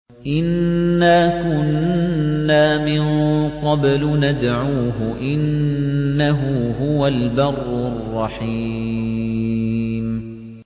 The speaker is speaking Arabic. إِنَّا كُنَّا مِن قَبْلُ نَدْعُوهُ ۖ إِنَّهُ هُوَ الْبَرُّ الرَّحِيمُ